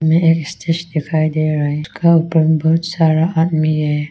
मेज दिखाई दे रहे है का ऊपर में बहुत सारा आदमी है।